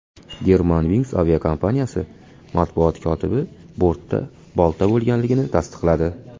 Germanwings aviakompaniyasi matbuot kotibi bortda bolta bo‘lganligini tasdiqladi.